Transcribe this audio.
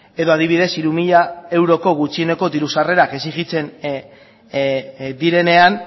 edo adibidez hiru mila euroko gutxieneko diru sarrerak exigitzen direnean